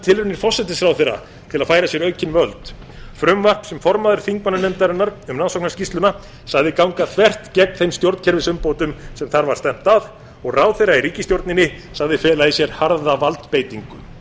tilraunir forsætisráðherra til að færa sér aukin völd frumvarp sem formaður þingmannanefndarinnar um rannsóknarskýrsluna sagði ganga þvert gegn þeim stjórnkerfisumbótum sem þar var stefnt að og ráðherra í ríkisstjórninni sagði fela í sér harða valdbeitingu